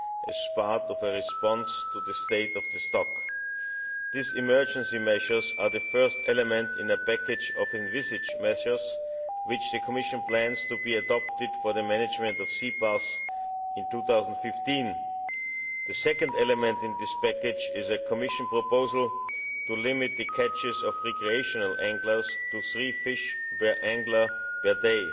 as part of a response to the state of the stock. These emergency measures are the first element in a package of envisaged measures which the Commission plans to be adopted for the management of sea bass in 2015. The second element in this package is a Commission proposal to limit the catches of recreational anglers to three fish per angler per day.